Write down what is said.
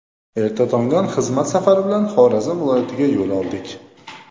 Erta tongdan xizmat safari bilan Xorazm viloyatiga yo‘l oldik.